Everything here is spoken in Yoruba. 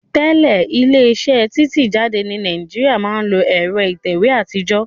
Tẹ́lẹ̀ ilé iṣẹ́ títẹ̀ jáde ní Nàìjíríà máa ń lo ẹ̀rọ ìtẹ̀wé àtijọ́